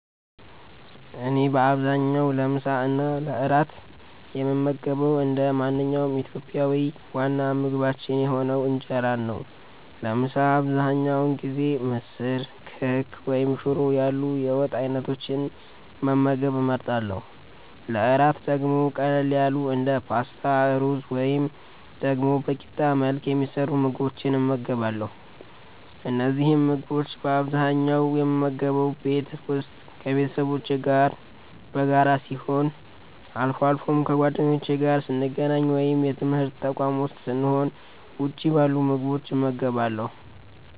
እኔ በአብዛኛው ለምሳ እና ለእራት የምመገበው እንደ ማንኛውም ኢትዮጵያዊ ዋና ምግባችን የሆነውን እንጀራን ነው። ለምሳ አብዛኛውን ጊዜ ምስር፣ ክክ ወይም ሽሮ ያሉ የወጥ አይነቶችን መመገብ እመርጣለሁ። ለእራት ደግሞ ቀለል ያሉ እንደ ፓስታ፣ ሩዝ ወይም ደግሞ በቂጣ መልክ የሚሰሩ ምግቦችን እመገባለሁ። እነዚህን ምግቦች በአብዛኛው የምመገበው ቤት ውስጥ ከቤተሰቦቼ ጋር በጋራ ሲሆን፣ አልፎ አልፎም ከጓደኞቼ ጋር ስገናኝ ወይም የትምርት ተቋም ዉስጥ ስሆን ውጭ ባሉ ምግብ ቤቶች እመገባለሁ።